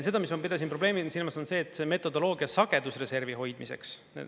Seda, mis ma pidasin probleemina silmas, on see metodoloogia sagedusreservi hoidmiseks.